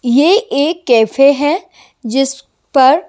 ये एक कैफे है जिस पर--